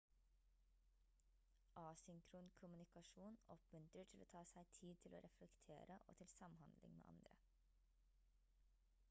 asynkron kommunikasjon oppmuntrer til å ta seg tid til å reflektere og til samhandling med andre